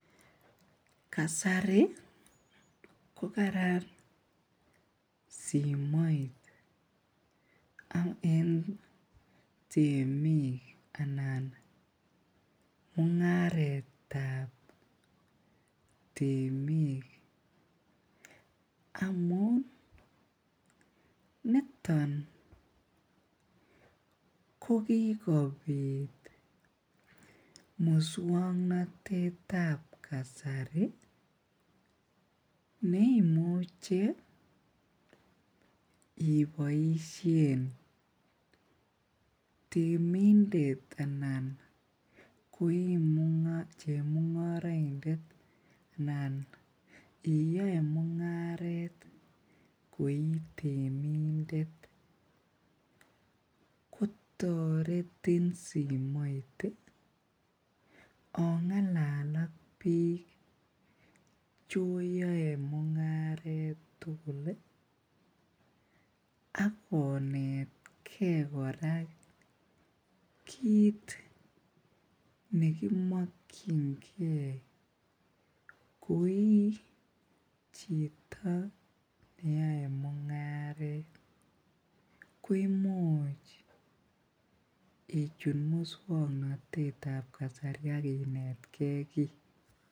Kasari ko kararan simoit en temik anan mung'aret tab temik amuun niton kokikobut musuaknotet tab kasari neimuch ibaisien temindet Anan che mung'araindet. Iyae mung'aret koi temindet kotaretin simoit ih ong'lal ak cheoyae mung'aret tugul Ako akonetke kora kit nekimokyinge koi chito neyae mung'aret koimuch ichut musuaknotetab kasari akonetke ki.